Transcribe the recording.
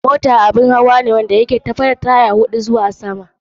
Mota abun hawa ne wanda ya ke saukaka tafiya, da ga tyre huɗu zuwa sama.